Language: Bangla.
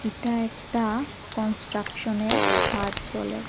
এটা একটা কনস্ট্রাকশনের খাজ চলে।